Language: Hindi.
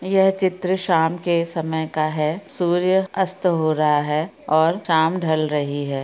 यह चित्र शाम के समय का हैं सूर्य अस्त हो रहा हैं और शाम ढल रही हैं।